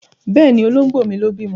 Bẹ́ẹ̀ni, Olóńgbò mi ló bímọ.